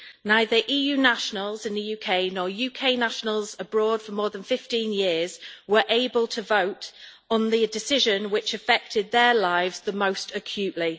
Neither EU nationals in the UK nor UK nationals abroad for more than 15 years were able to vote on the decision which affected their lives the most acutely.